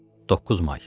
9 may.